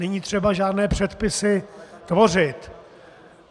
Není třeba žádné předpisy tvořit.